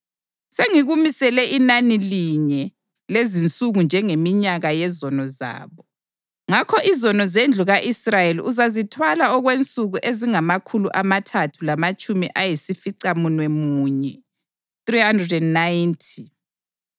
Sengikumisele inani linye lezinsuku njengeminyaka yezono zabo. Ngakho izono zendlu ka-Israyeli uzazithwala okwensuku ezingamakhulu amathathu lamatshumi ayisificamunwemunye (390).